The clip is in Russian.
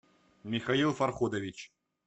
михаил фарходович